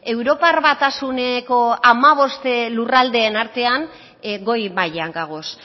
europar batasuneko hamabost lurraldeen artean goi mailan gagoz